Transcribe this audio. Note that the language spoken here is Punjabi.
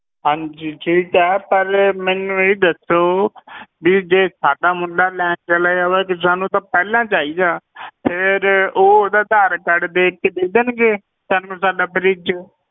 ਹਾਂਜੀ ਠੀਕ ਹੈ ਪਰ ਮੈਨੂੰ ਇਹ ਦੱਸੋ ਵੀ ਜੇ ਸਾਡਾ ਮੁੰਡਾ ਲੈਣ ਚਲਿਆ ਜਾਵੇ, ਸਾਨੂੰ ਤਾਂ ਪਹਿਲਾਂ ਚਾਹੀਦਾ ਫਿਰ ਉਹ ਉਹਦਾ ਆਧਾਰ ਕਾਰਡ ਦੇਖ ਕੇ ਦੇ ਦੇਣਗੇ ਸਾਨੂੰ ਸਾਡਾ fridge